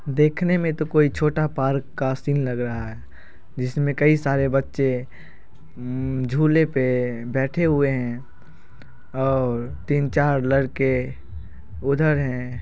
देखने में तोह कोई छोटा पार्क का सीन लग रहा है जिसमे कई सारे बच्चे उम_म झूले पे बैठे हुए हैं और तीन-चार लड़के उधर हैं।